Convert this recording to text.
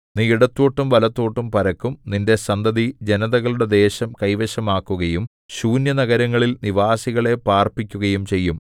നീ ഇടത്തോട്ടും വലത്തോട്ടും പരക്കും നിന്റെ സന്തതി ജനതകളുടെ ദേശം കൈവശമാക്കുകയും ശൂന്യനഗരങ്ങളിൽ നിവാസികളെ പാർപ്പിക്കുകയും ചെയ്യും